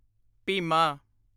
Bhima